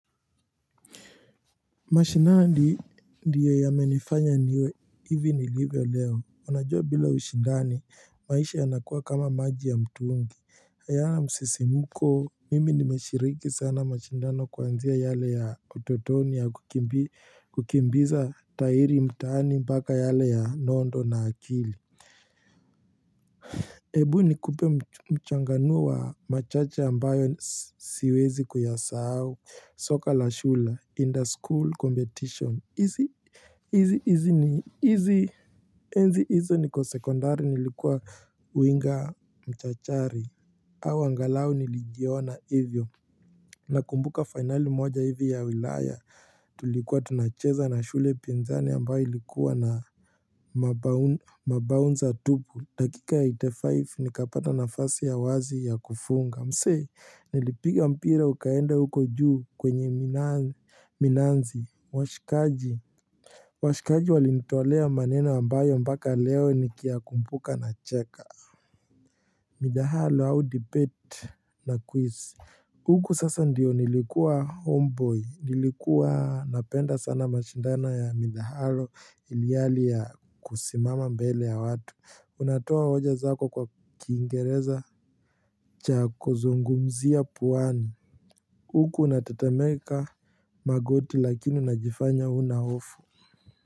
Mashinani ndiyo yamenifanya niwe hivi ni nilivyo leo. Unajua bila ushindani maisha yanakuwa kama maji ya mtuungi Ayana msisimuko mimi nimeshiriki sana mashindano kuanzia yale ya utotoni ya kukimbiza tahiri mtaani mpaka yale ya nondo na akili. Ebu nikupe mchanganu wa machache ambayo siwezi kuyasahau soka la shule in the school competition enzi hizo niko sekundari nilikuwa uinga mchachari. Au angalau nilijiona hivyo na kumbuka finali moja hivi ya wilaya Tulikuwa tunacheza na shule pinzani ambayo ilikuwa na mabaunza tubu. Dakika ya 85 nikapata nafasi ya wazi ya kufunga. Msee nilipiga mpira ukaenda huko juu kwenye Minanzi washikaji. Washikaji walinitoalea maneno ambayo mbaka leo nikiyakumbuka na cheka Midahalo au debate na quiz. Huku sasa ndiyo nilikuwa homeboy nilikuwa napenda sana mashindano ya midahalo iliali ya kusimama mbele ya watu. Unatoa hoja zako kwa Kingereza chako zungumzia puani. Huku unatetemeka magoti lakini najifanya hunaofu.